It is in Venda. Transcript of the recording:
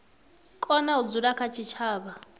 kona u dzula kha tshitshavha